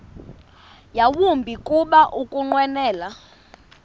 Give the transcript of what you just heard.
yawumbi kuba ukunqwenela